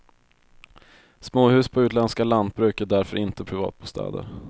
Småhus på utländska lantbruk är därför inte privatbostäder.